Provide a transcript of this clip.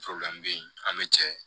be yen an be cɛ